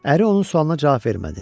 Əri onun sualına cavab vermədi.